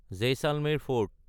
Jaisalmer fort